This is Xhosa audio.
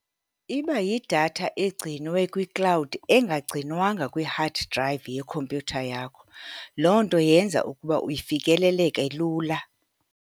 Iba yidatha egcinwe kwiklawudi, engagcinwanga kwi-hard drive yekhompyutha yakho. Loo nto yenza ukuba ifikeleleke lula.